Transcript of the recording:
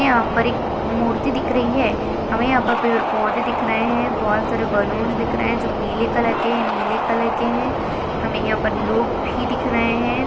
हमे यहाँ पर एक मूर्ती दिख रही है हमे यहाँ पर पेड़ पौधे दिख रहे है बहुत सारे बलूनस दिख रहे है जो पीले कलर के है नीले के है हमे यहाँ पर लोग भी दिख रहे है।